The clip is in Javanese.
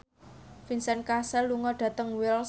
Vincent Cassel lunga dhateng Wells